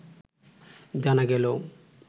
জানা গেলেও